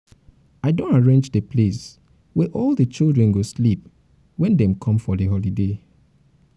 i don arrange the place wey all the children go sleep wen um dem come for holiday um